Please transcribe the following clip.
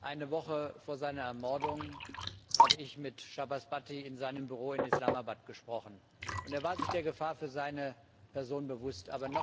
Eine Woche vor seiner Ermordung habe ich mit Shahbaz Bhatti in seinem Büro in Islamabad gesprochen und er war sich der Gefahr für seine Person bewusst.